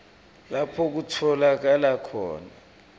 lapho kutfolakala khona